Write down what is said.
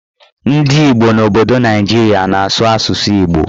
Ndị Igbo n'obodo Naijiria na-azụ asụsụ Igbo